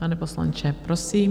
Pane poslanče, prosím.